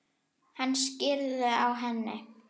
Hann skríður á henni.